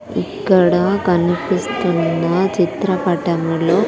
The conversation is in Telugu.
ఇక్కడ కనిపిస్తున్న చిత్రపటములో .